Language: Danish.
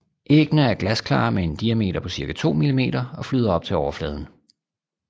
Æggene er glasklare med en diameter på cirka 2 millimeter og flyder op til overfladen